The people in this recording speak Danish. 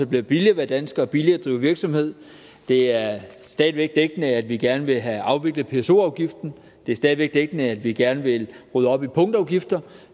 bliver billigere at være dansker og billigere at drive virksomhed det er stadig væk dækkende at vi gerne vil have afviklet pso afgiften det er stadig væk dækkende at vi gerne vil rydde op i punktafgifterne